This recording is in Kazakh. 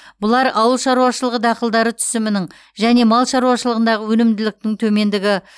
бұлар ауыл шаруашылығы дақылдары түсімінің және мал шаруашылығындағы өнімділіктің төмендігі